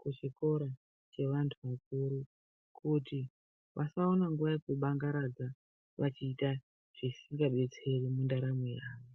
kuchikoro chevantu vakuru kuti vasaone nguva yekubangaradza vachiita zvisingadetseri mundaramo yavo.